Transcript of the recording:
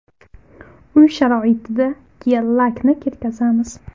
Uy sharoitida gel-lakni ketkazamiz.